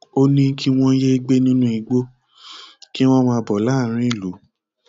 ó ní kí wọn yéé gbé nínú igbó kí wọn máa bọ láàárín ìlú